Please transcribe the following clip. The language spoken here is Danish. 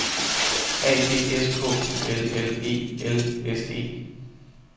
A D S K I L L E L S E